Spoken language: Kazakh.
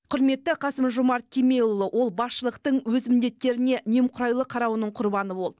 құрметті қасым жомарт кемелұлы ол басшылықтың өз міндеттеріне немқұрайлы қарауының құрбаны болды